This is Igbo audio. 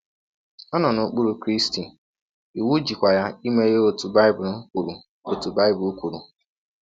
Ọ nọ n’okpụrụ Krịsti, iwụ jịkwa ya ime ihe ọtụ Baịbụl kwụrụ ọtụ Baịbụl kwụrụ.